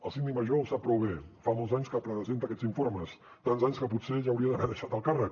el síndic major ho sap prou bé fa molts anys que presenta aquests informes tants anys que potser ja hauria d’haver deixat el càrrec